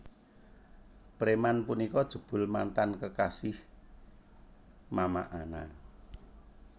Preman punika jebul mantan kekasih Mama Ana